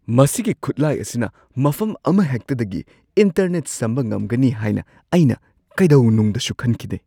ꯃꯁꯤꯒꯤ ꯈꯨꯠꯂꯥꯏ ꯑꯁꯤꯅ ꯃꯐꯝ ꯑꯃꯍꯦꯛꯇꯗꯒꯤ ꯏꯟꯇꯔꯅꯦꯠ ꯁꯝꯕ ꯉꯝꯒꯅꯤ ꯍꯥꯏꯅ ꯑꯩꯅ ꯀꯩꯗꯧꯅꯨꯡꯗꯁꯨ ꯈꯟꯈꯤꯗꯦ ꯫